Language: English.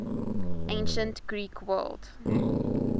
ancient greek world